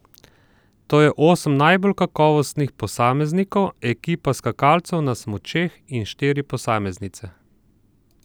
To je osem najbolj kakovostnih posameznikov, ekipa skakalcev na smučeh in štiri posameznice.